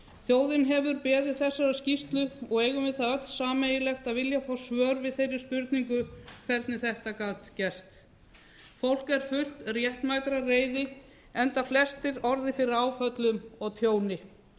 þjóðin hefur beðið þessarar skýrslu og eigum við það öll sameiginlegt að vilja fá svör við þeirri spurningu hvernig þetta gat gerst fólk er fullt réttmætrar reiði enda flestir orðið fyrir áföllum og tjóni